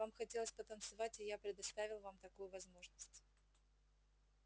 вам хотелось потанцевать и я предоставил вам такую возможность